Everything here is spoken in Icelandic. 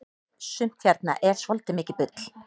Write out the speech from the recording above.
sumt hérna er svoltið mikið bull